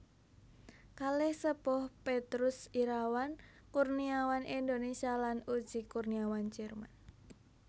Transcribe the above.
Kalih Sepuh Petrus Irawan Kurniawan Indonesia lan Uschi Kurniawan Jerman